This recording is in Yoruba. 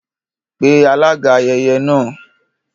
Pe alága ayẹyẹ náà